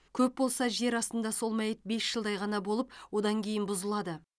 көп болса жер астында сол мәйіт бес жылдай ғана болып одан кейін бұзылады